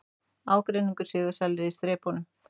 Ármenningar sigursælir í þrepunum